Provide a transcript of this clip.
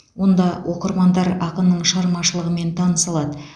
онда оқырмандар ақынның шығармашылығымен таныса алады